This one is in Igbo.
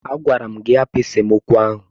Agwara m gị hapụ esemokwu ahụ!